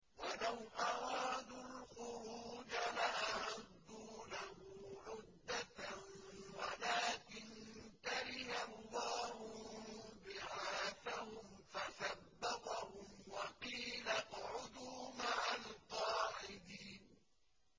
۞ وَلَوْ أَرَادُوا الْخُرُوجَ لَأَعَدُّوا لَهُ عُدَّةً وَلَٰكِن كَرِهَ اللَّهُ انبِعَاثَهُمْ فَثَبَّطَهُمْ وَقِيلَ اقْعُدُوا مَعَ الْقَاعِدِينَ